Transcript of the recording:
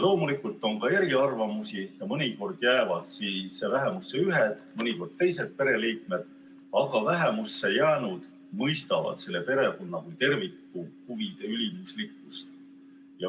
Loomulikult on ka eriarvamusi ja mõnikord jäävad vähemusse ühed, mõnikord teised pereliikmed, aga vähemusse jäänud mõistavad selle perekonna kui terviku huvide ülimuslikkust.